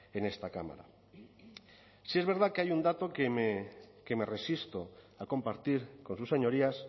en esta cámara sí es verdad que hay un dato que me resisto a compartir con sus señorías